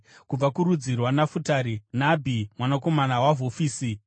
kubva kurudzi rwaNafutari, Nabhi mwanakomana waVhofisi;